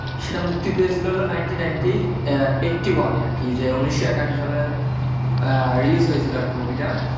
সেটা মুক্তি পেয়েছিল নাইন্টিন নাইন্টি এইট্টি ওয়ান আরকি উন্নিশশো একাশি সালে release হয়েছিল আরকি movie টা,